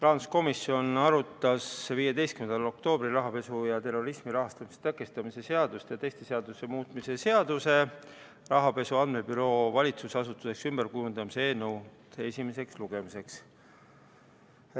Rahanduskomisjon arutas 15. oktoobril rahapesu ja terrorismi rahastamise tõkestamise seaduse ja teiste seaduste muutmise seaduse eelnõu esimeseks lugemiseks.